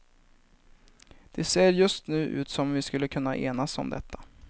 Det ser just nu ut som om vi skulle kunna enas om detta.